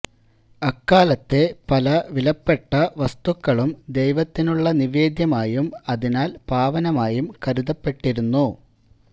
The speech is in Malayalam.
അക്കാലത്തെ പല വിലപ്പെട്ട വസ്തുക്കളും ദൈവത്തിനുള്ള നിവേദ്യമായും അതിനാൽ പാവനമായും കരുതപ്പെട്ടിരുന്നു